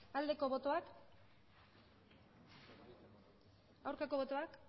aldeko botoak aurkako botoak